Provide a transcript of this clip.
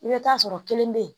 I bɛ taa sɔrɔ kelen bɛ yen